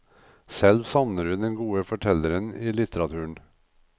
Selv savner hun den gode fortelleren i litteraturen.